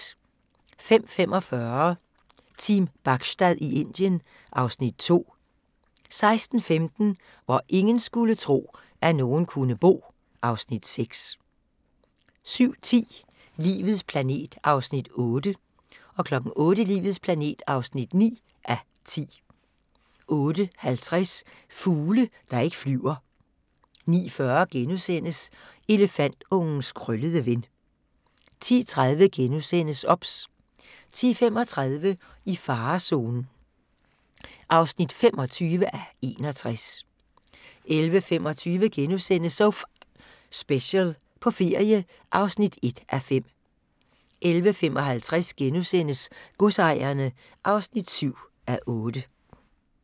05:45: Team Bachstad i Indien (Afs. 2) 06:15: Hvor ingen skulle tro, at nogen kunne bo (Afs. 6) 07:10: Livets planet (8:10) 08:00: Livets planet (9:10) 08:50: Fugle, der ikke flyver 09:40: Elefantungens krøllede ven * 10:30: OBS * 10:35: I farezonen (25:61) 11:25: So F***ing Special – på ferie (1:5)* 11:55: Godsejerne (7:8)*